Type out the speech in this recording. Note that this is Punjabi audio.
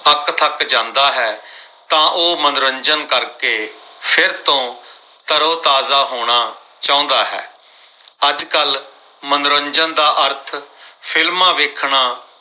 ਅੱਕਥੱਕ ਜਾਂਦਾ ਹੈ। ਤਾਂ ਮਨੋਰੰਜਨ ਕਰ ਕੇ ਫਿਰ ਤੋਂ ਤਰੋਤਾਜ਼ਾ ਹੋਣਾ ਚਾਹੁੰਦਾ ਹੈ ਅੱਜਕੱਲ ਮਨੋਰੰਜਨ ਦਾ ਅਰਥ films ਵੇਖਣਾ